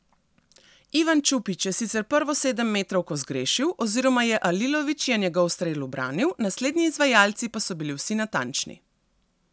Ivan Čupić je sicer prvo sedemmetrovko zgrešil oziroma je Alilović je njegov strel ubranil, naslednji izvajalci pa so bili vsi natančni.